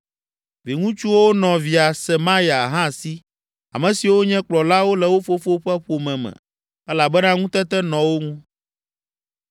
Viŋutsuwo nɔ via Semaya, hã si, ame siwo nye kplɔlawo le wo fofo ƒe ƒome me elabena ŋutete nɔ wo ŋu.